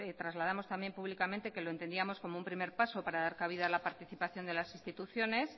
trasladamos también públicamente que lo entendíamos como un primer paso para dar cabida a la participación de las instituciones